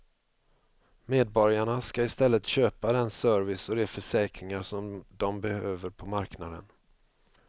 Medborgarna ska i stället köpa den service och de försäkringar som de behöver på marknaden.